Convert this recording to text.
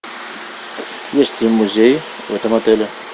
есть ли музей в этом отеле